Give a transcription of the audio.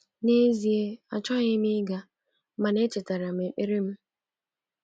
N’ezie, achọghị m ịga, mana echetara m ekpere m.